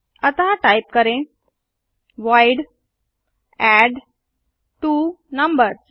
अतः टाइप करें void add two numbers